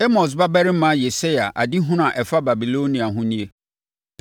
Amos babarima Yesaia adehunu a ɛfa Babilonia ho nie: